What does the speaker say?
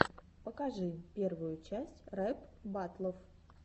покажи первую часть рэп баттлов